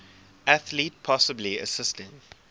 athlete possibly assisting